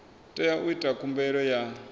tea u ita khumbelo ya